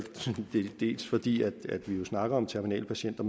dels fordi vi jo snakker om terminalpatienter